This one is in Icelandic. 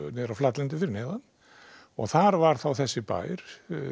niður á flatlendi og þar var þessi bær